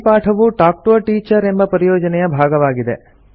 ಈ ಪಾಠವು talk to a teacher ಎಂಬ ಪರಿಯೋಜನೆಯ ಭಾಗವಾಗಿದೆ